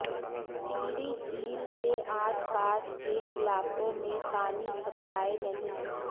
टिहरी झील के आसपास के इलाकों में पानी सप्लाई नहीं